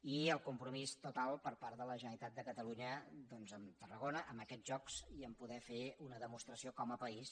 i el compromís total per part de la generalitat de catalunya doncs amb tarragona amb aquests jocs i amb el fet de poder fer una demostració com a país